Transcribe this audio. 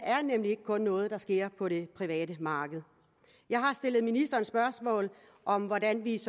er nemlig ikke kun noget der sker på det private marked jeg har stillet ministeren spørgsmål om hvordan vi